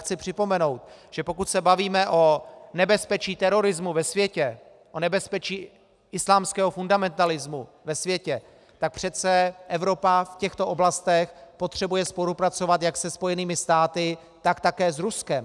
Chci připomenout, že pokud se bavíme o nebezpečí terorismu ve světě, o nebezpečí islámského fundamentalismu ve světě, tak přece Evropa v těchto oblastech potřebuje spolupracovat jak se Spojenými státy, tak také s Ruskem.